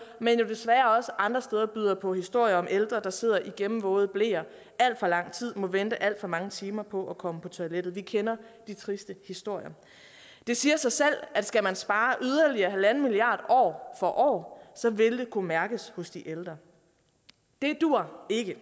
men jo desværre også andre steder byder på historier om ældre der sidder i gennemvåde bleer alt for lang tid og må vente alt for mange timer på at komme på toilettet vi kender de triste historier det siger sig selv at skal man spare yderligere en milliard år for år vil det kunne mærkes hos de ældre det duer ikke